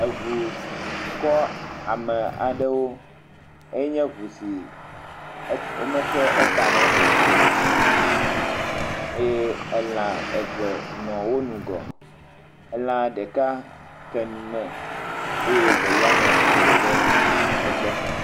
Ŋu kɔ ame aɖewo, enye ŋu si womexe etame o eye lã eve le wo ŋgɔ. Lã ɖeka ke nu me eye evelia nɔ tsitre le egbɔ.